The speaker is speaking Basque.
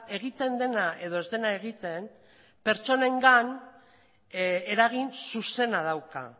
egiten dena edo ez dena egiten pertsonengan eragin zuzena dauka